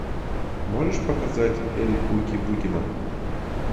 можешь показать эль кукуй бугимен